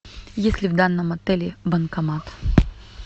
есть ли в данном отеле банкомат